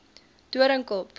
doringkop